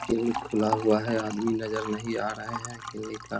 Clinic खुला हुआ है आदमी नजर नहीं आ रहे हैं किलनिक का।